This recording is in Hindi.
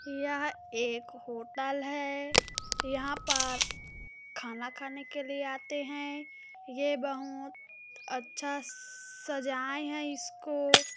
यह एक होटल है यहाँ पर खाना खाने के लिए आते है ये बहुत अच्छा सजाए है इसको--